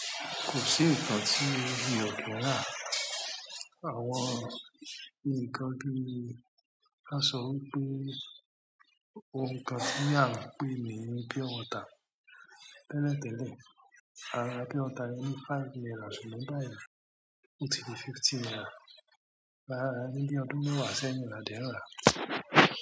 Kò sí ǹkan tí mi ò kì n ra. Àwọn ǹkan bì, ka sọ́ wípé ounkan tí à ń pè ní pure water. Tẹ́lẹ̀ tẹ́lẹ̀, à ra pure water ní five náírà, ni báyìí, ò tí dì fifty náírà. A ra ní ọdún mẹ́wà sẹ́yìn ni a de ń ra.